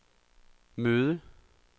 møde